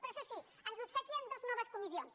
però això sí ens obsequia amb dues noves comissions